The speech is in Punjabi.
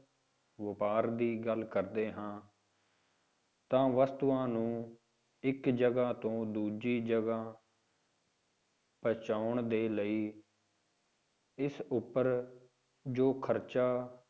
ਵਾਪਾਰ ਦੀ ਗੱਲ ਕਰਦੇ ਹਾਂ ਤਾਂ ਵਸਤੂਆਂ ਨੂੰ ਇੱਕ ਜਗ੍ਹਾ ਤੋਂ ਦੂਜੀ ਜਗ੍ਹਾ ਪਹੁੰਚਾਉਣ ਦੇ ਲਈ ਇਸ ਉੱਪਰ ਜੋ ਖ਼ਰਚਾ